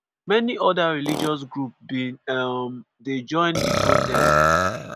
many oda religious groups bin um dey join di protest.